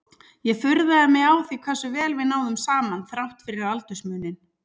Ég furðaði mig á því hversu vel við náðum saman þrátt fyrir aldursmuninn.